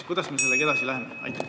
Kuidas me sellega edasi läheme?